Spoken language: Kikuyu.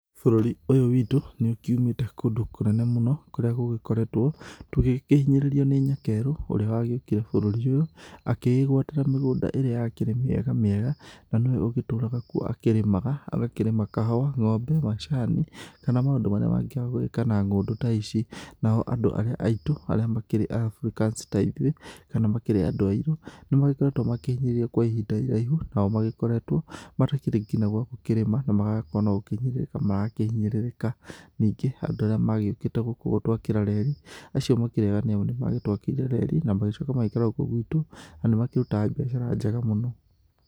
Bũrũri ũyũ wiitũ nĩũkiumĩĩte kũndũ kũnene mũno kũrĩa gũgĩkoreetwo tũgĩkĩhinyĩrĩrio nĩ nyakeerũ ũrĩa wagĩũkire bũrũri ũyũ akĩĩgwatĩra mĩgũnda ĩrĩa yaakĩrĩ mĩega mĩega na nĩwe ũgĩtũũraga kuo akĩrĩmaga, agakĩrĩma kahũa, ngombe, macaani, kana maũndũ marĩa mangĩ agũĩka na ngũndũ ta ici. Nao andũ arĩa aitũ, arĩa makĩrĩ Africans ta ithuĩ, kana makĩrĩ andũ airũ, nĩmagĩkoretwo makĩhinyĩrĩrio kwa ihinda iraihu, nao magĩkoretwo matakĩrĩ nginya gwa gũkĩrĩma na magakorwo no gũkĩhinyĩrĩrĩka marakĩhinyĩrĩrĩka. Ningĩ andũ arĩa maagĩũkĩte gũkũ gũtwakĩra reri, acio makĩrĩ eega nĩũndũ nĩmagĩtwakĩire reri, na magĩcooka magĩikara gũũkũ gwitũ, na nĩmakĩrutaga biacara njega mũno.